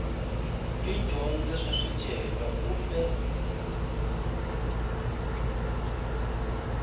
yo dyondza swa swicelwa kumbe